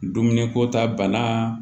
Dumuni ko ta bana